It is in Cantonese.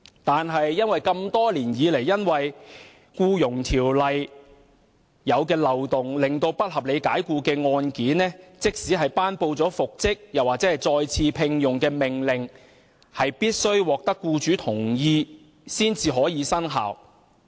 然而，多年來，由於《僱傭條例》的漏洞，不合理解僱的個案即使獲頒布復職或再次聘用的命令，也必須獲得僱主同意才能生效。